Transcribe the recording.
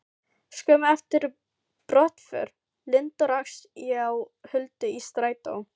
Skömmu eftir brottför Lindu rakst ég á Huldu í strætó.